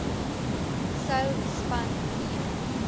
sou span nee